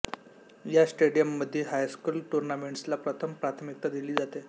या स्टेडियम मध्यी हायस्कूल टूर्नामेंट्सला प्रथम प्राथमिकता दिली जाते